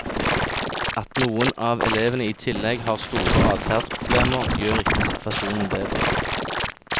At noen av elevene i tillegg har store adferdsproblemer, gjør ikke situasjonen bedre.